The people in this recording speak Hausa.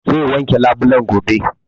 Zai wanke labulen gobe